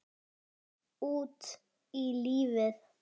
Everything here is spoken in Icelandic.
Út í lífið